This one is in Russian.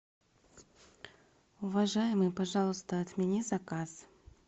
уважаемый пожалуйста отмени заказ